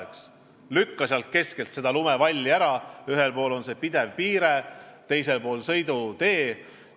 Katsu lükata tee keskelt lumevalli ära: ühel pool on pidev piire, teisel pool sõidutee.